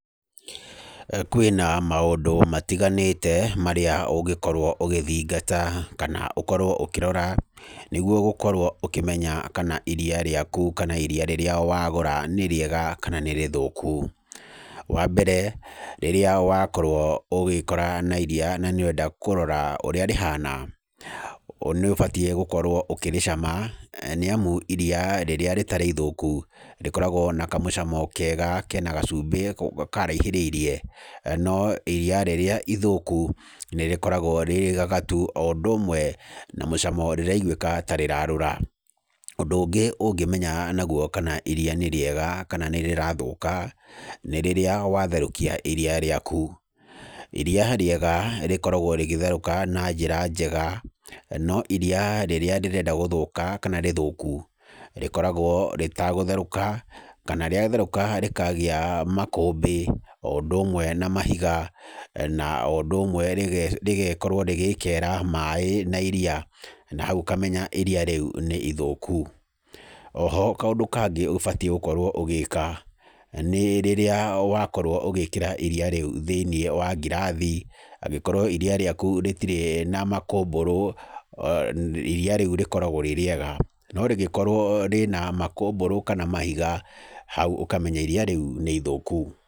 Kwĩna maũndũ matiganĩte marĩa ũngĩkorwo ũgithingata kana ũkorwo ũkĩrora nĩgwo gũkorwo ũkĩmenya kana iria rĩaku kana iria rĩrĩa wagũra nĩrĩega kana nĩ rĩthũku. Wa mbere, rĩrĩa wakorwo ũgĩĩkora na iria na nĩũrenda kũrora ũrĩa rĩhana, nĩ ũbatiĩ gũkorwo ũkĩrĩcama nĩamu iria rĩrĩa rĩtarĩ ithũku rĩkoragwo na kamũcamo kega kena gacumbĩ karaihĩrĩirie, no iria rĩrĩa ithũku nĩrĩkoragwo rĩrĩgagatu o ũndũ ũmwe na mũcamo rĩraigwĩka tarĩra rũra. Ũndũ ũngĩ ũngĩmenya nagwo kana iria nĩ rĩega kana nĩrĩrathũka, nĩ rĩrĩa watherũkia iria rĩaku. Iria rĩega rĩkoragwo rĩgĩtheruka na njĩra njega, no iria rĩrĩa rĩrenda guthuka kana rĩthuku rĩkoragwo rĩtagutherũka kana rĩatherũka rĩkagĩa makũmbĩ o ũndũ ũmwe na mahiga na o ũndũ ũmwe rĩge, rĩgekorwo rĩgĩkera maaĩ na iria na hau ũkamenya iria rĩu nĩ ithũku. Oho kaũndũ kangĩ ũbatiĩ gũkorwo ũgĩka, nĩ rĩrĩa wakorwo ũgĩkĩra iria rĩu thĩiniĩ wa ngirathi, angĩkorwo iria rĩaku rĩtirĩ na makũmbũrũ iria rĩu rĩkoragwo rĩĩ rĩega, no rĩgĩkorwo rĩna makũmbũrũ kana mahiga hau ũkamenya iria rĩu nĩ ithũku.